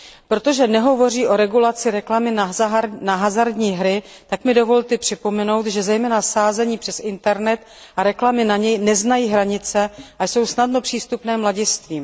Protože nehovoří o regulaci reklamy na hazardní hry, tak mi dovolte připomenout, že zejména sázení přes internet a reklamy na něj neznají hranice a jsou snadno přístupné mladistvým.